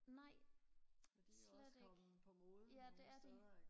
nej slet ikke ja det er det